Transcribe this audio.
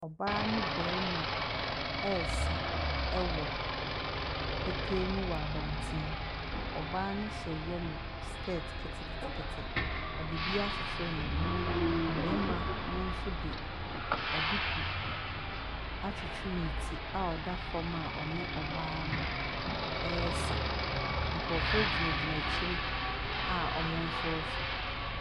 Ɔbaa ne bɛɛma ɛsa ɛwɔ petee mu wɔ abɔnten. Ɔbaa no hyɛ yɛlo skɛt ketekete. Ɔde bi akyekyere ne bo. Ɔbɛɛma no nso de aduku akyekyere ne ti a ɔda fɔm a ɔne ɔbaa no ɛsa. Nkorɔfoɔ gyinagyina akyire a ɔmo nso hwɛ.